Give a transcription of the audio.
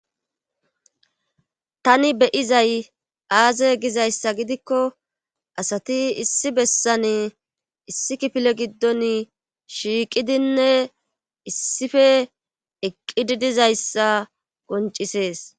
Tani beyizay aaze gizayssa gidikko asati issi bessane issi kifile giddon shiiqidinne issife eqqidi dizayssa koncisees